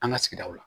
An ka sigidaw la